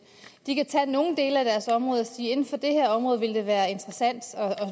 de kan tage nogle dele af deres område og sige inden for det her område vil det være interessant